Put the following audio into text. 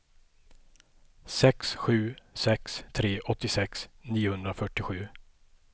sex sju sex tre åttiosex niohundrafyrtiosju